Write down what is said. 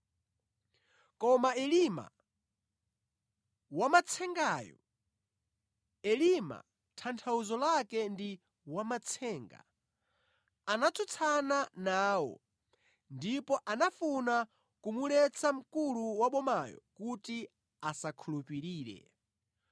Koma Elima wamatsengayo, (Elima tanthauzo lake ndi wamatsenga), anatsutsana nawo ndipo anafuna kumuletsa mkulu wa bomayo kuti asakhulupirire.